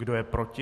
Kdo je proti?